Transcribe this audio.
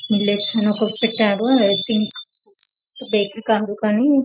మీ లెట్స్ అని ఒకటి పెట్టారు అది బేకరీ కాదు కానీ